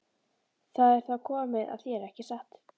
Það er þá komið að þér, ekki satt?